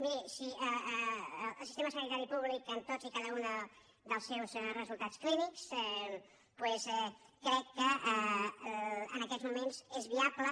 miri el sistema sanitari públic en tots i cada un dels seus resultats clínics crec que en aquests moments és viable